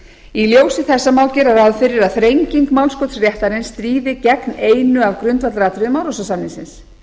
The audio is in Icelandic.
í ljósi þessa má gera ráð fyrir að þrenging málskotsréttarins stríði gegn einu af grundvallaratriðum árósasamningsins